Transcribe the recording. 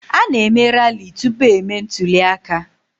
A na-eme rali tupu emee ntụli aka.